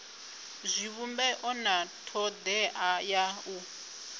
zwivhumbeo na thodea ya u